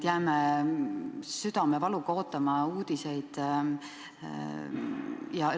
Jääme südamevaluga uudiseid ootama.